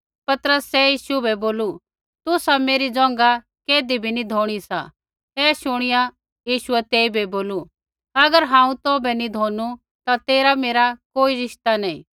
पतरसै यीशु बै बोलू तुसा मेरी ज़ोंघा कैधी भी नी धोणी सा ऐ शुणिया यीशुऐ तेइबै बोलू अगर हांऊँ तौभै नैंई धोनू ता तेरा मेरा कोई रिश्ता नैंई